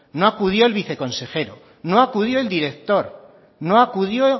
no acudió el viceconsejero no acudió el director no acudió